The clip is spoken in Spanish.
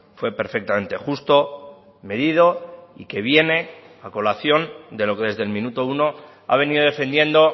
fue perfectamente justo medido y que viene a colación de lo que desde el minuto uno ha venido defendiendo